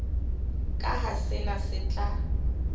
ka ha sena se tla